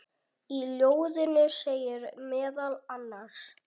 Í ljóðinu segir meðal annars